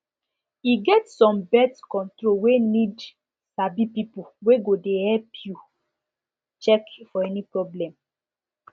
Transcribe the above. e get some birth control wey need sabi people wey go de help you check for any problem